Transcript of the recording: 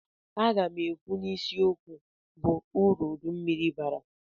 Aga m ekwu n'isi okwu bụ uru uduru mmiri bara.